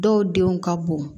Dɔw denw ka bon